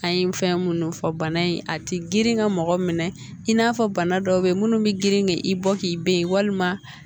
An ye fɛn minnu fɔ bana in a tɛ girin ka mɔgɔ minɛ i n'a fɔ bana dɔw bɛ yen minnu bɛ girin k'i bɔ k'i be yen walima